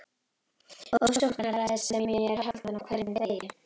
Ofsóknaræðis sem ég er haldinn á hverjum degi.